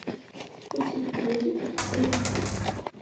у тебя будет блеск